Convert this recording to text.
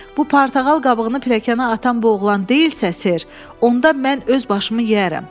Bu portağal qabığını piləkənə atan bu oğlan deyilsə, ser, onda mən öz başımı yeyərəm.